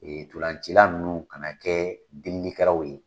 Ee ntolacila ninnu ka na kɛ delikɛlaw ye